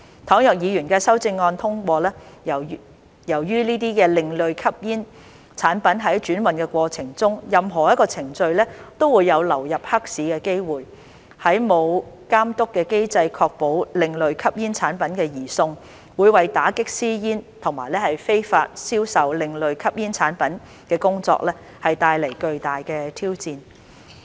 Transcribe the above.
倘若議員的修正案獲通過，由於這些另類吸煙產品在轉運過程中的任何一個程序都有流入黑市的機會，沒有監督機制確保另類吸煙產品的移送，會為打擊私煙及非法銷售另類吸煙產品的工作帶來巨大的挑戰。